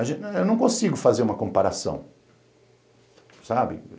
A gente, eu não consigo fazer uma comparação, sabe?